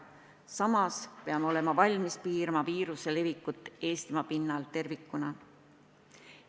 Samas peame olema valmis piirama viiruse levikut Eestimaa pinnal tervikuna.